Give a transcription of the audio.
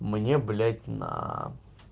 мне блять на